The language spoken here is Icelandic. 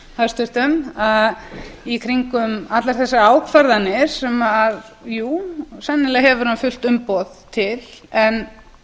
hæstvirtum í kringum allar þessar ákvarðanir sem jú sennilega hefur hann fullt umboð til en